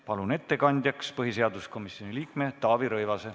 Palun ettekandjaks põhiseaduskomisjoni liikme Taavi Rõivase.